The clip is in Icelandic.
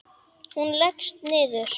Og hún leggst niður.